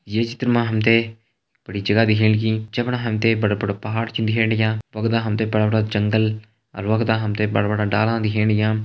ये चित्र मा हम तें बड़ी जगह दिखेण लगीं जे फणा हम तें बड़ा बड़ा पहाड़ छिन दिखेण लग्यां वख दा हम तें बड़ा बड़ा जंगल अर वख दा हम तें बड़ा बड़ा डाला दिखेण लग्यां।